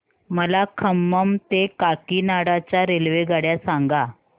मला खम्मम ते काकीनाडा च्या रेल्वेगाड्या सांगा